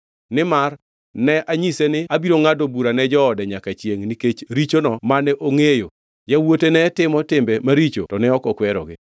Nimar ne anyise ni abiro ngʼado bura ne joode nyaka chiengʼ nikech richono mane ongʼeyo, yawuote ne timo timbe maricho, to ne ok okwerogi.